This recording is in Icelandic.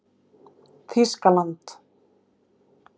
Þýskaland